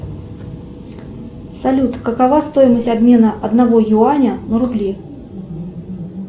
салют какова стоимость обмена одного юаня на рубли